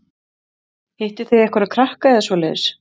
Hittuð þið einhverja krakka eða svoleiðis?